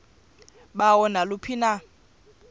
balo naluphi na